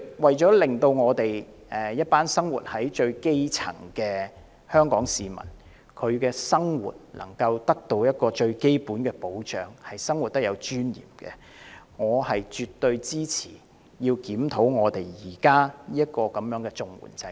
為了令香港最基層的市民得到最基本的保障，得以有尊嚴地生活，我絕對支持檢討現時的綜援制度。